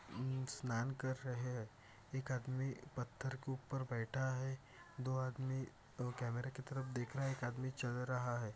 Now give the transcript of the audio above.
अ स्नान कर रहे है। एक आदमी पत्थर के ऊपर बैठा है। दो आदमी दो कमेरा की तरफ देख रहा है। एक आदमी चल रहा है।